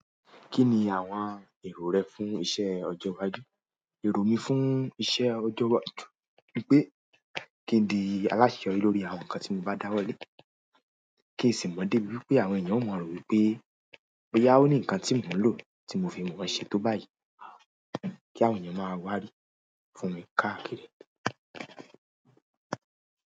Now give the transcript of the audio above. Kí ni àwọn èrò rẹ fún iṣẹ́ ọjọ́ iwájú? Èrò mi fún iṣẹ́ ọjọ́ iwájú ni pé kí n di aláṣeyọrí lórí àwọn nǹkan tí mo bá dáwọ́ lé, kí n sì mọ dé bí pé àwọn ènìyàn ó mọ̀ wípé bóyá ó ní ǹkan tí mò ń lò tí mo fi mọ̀ ọ́ ṣe tó báyìí kí àwọn ènìyàn máa wárí fún mi káàkiri.